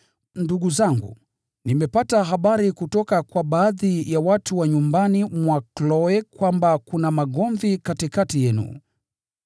Ndugu zangu, nimepata habari kutoka kwa baadhi ya watu wa nyumbani mwa Kloe kwamba kuna magomvi katikati yenu.